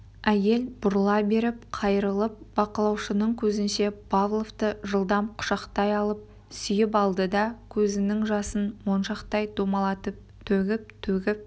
әйел бұрыла беріп қайырылып бақылаушының көзінше павловты жылдам құшақтай алып сүйіп алды да көзінің жасын моншақтай домалатып төгіп-төгіп